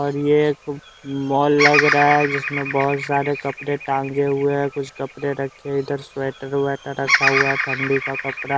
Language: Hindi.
और ये एक मॉल लग रहा है जिसमें बहुत सारे कपड़े टांगे हुए हैं कुछ कपड़े रखे इधर स्वेटर वैटर रखा हुआ है ठंडी का कपड़ा--